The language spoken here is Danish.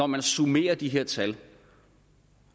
man summerer de her tal og